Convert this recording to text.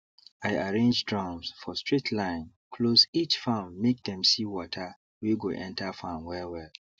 i arrange drums for straight line close each farmmake them see water wey go enter farm well well